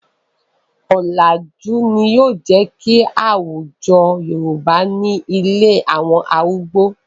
Ọ̀làjú ni ó jẹ́ kí àwújọ Yorùbá ní ilé àwọn arúgbó.